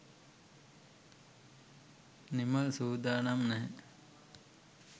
නිමල් සූදානම් නැහැ.